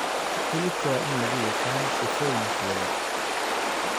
Hilibka waa in lagu yaqaan sifooyinkooda.